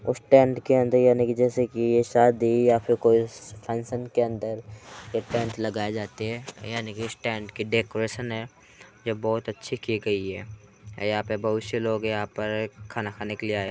उस टेंट के अंदर याने की जैसे की ये शादीया फिर कोई फंक्शन के अंदर ये टेंट लगाए जाते हैं याने की स्टॅंड की डेकोरेशन है ये बहुत अच्छी की गयी है यहाँ पर बहुत शे लोग हैं यहाँ पर खाना खाने आये हैं।